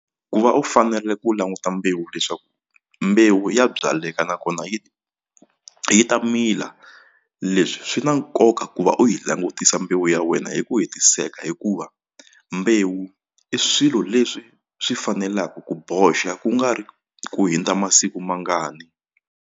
Ku va u fanele u languta mbewu leswaku mbewu ya byaleka nakona yi yi ta mila leswi swi na nkoka ku va u yi langutisa mbewu ya wena hi ku hetiseka hikuva mbewu i swilo leswi swi fanelaku ku boxa ku nga ri ku hundza masiku mangani.